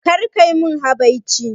Kar kai mun habaici